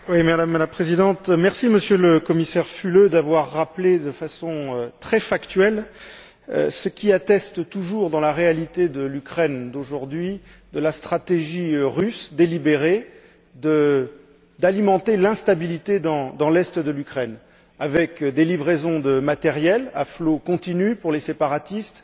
Madame la Présidente, Monsieur le Commissaire Füle, je vous remercie d'avoir rappelé de façon très factuelle ce qui atteste toujours dans la réalité de l'Ukraine d'aujourd'hui, de la stratégie russe, délibérée, d'alimenter l'instabilité dans l'est de l'Ukraine, avec des livraisons de matériel à flot continu pour les séparatistes,